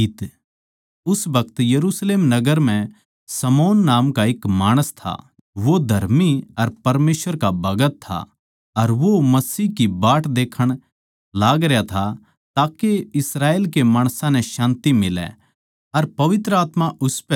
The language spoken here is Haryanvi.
उस बखत यरुशलेम नगर म्ह शमौन नाम का एक माणस था वो धर्मी अर परमेसवर का भगत था अर वो यीशु मसीह की बाट देखण लागरया था ताके इस्राएल के माणसां नै शान्ति मिलै अर पवित्र आत्मा उसपै था